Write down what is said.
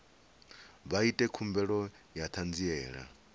vha ite khumbelo ya ṱhanziela